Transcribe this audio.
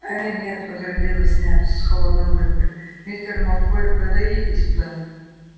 ээ нет возразил снегг с холодной улыбкой мистер малфой подойдите сюда